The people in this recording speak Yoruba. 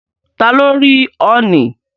Ta ló rí ọ̀ọ̀nì?